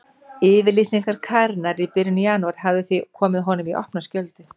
Yfirlýsing Karenar í byrjun janúar hafði því komið honum í opna skjöldu.